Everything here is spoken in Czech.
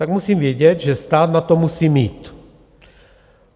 Tak musím vědět, že stát na to musí mít.